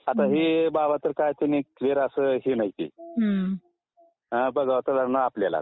*Audio is not clear